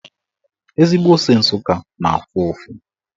Ezigbo ose Nsụka na-afụ ụfụ.